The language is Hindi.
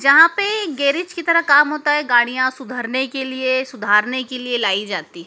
जहां पे गेरेज की तरह काम होता है गाड़ियां सुधरने के लिए सुधारने के लिए लाई जाती--